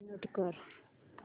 mute कर